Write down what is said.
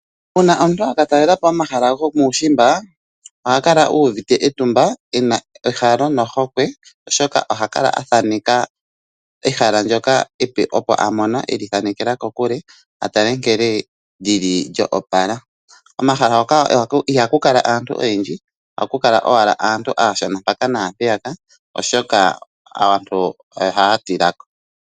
Una omuntu aka talela po omahala gomuushimba, oha kala uvite etumba ena ehalo nohokwe, oshoka oha kala athaneka ehala ndyoka epe, opo amona e li thanekela kokule a tale nkene li li lya opala. Omahala ngoka ihaku kala aantu oyendji, ohaku kala owala aantu aashona mpaka naampyeka, oshoka aantu ohaya tila ko.